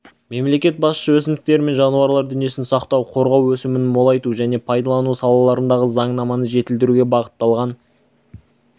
мемлекет басшысы өсімдіктер мен жануарлар дүниесін сақтау қорғау өсімін молайту және пайдалану салаларындағы заңнаманы жетілдіруге бағытталған